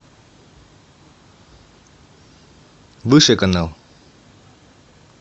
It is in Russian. выше канал